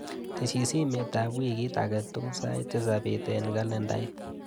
Tesyii simetap wikit akatukul sait tisap bet eng kalendait.